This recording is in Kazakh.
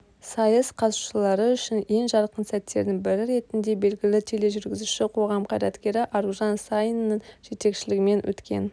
сайыс қатысушылары үшін ең жарқын сәттердің бірі ретінде белгілі тележүргізуші қоғам қайраткері аружан саинның жетекшілігімен өткен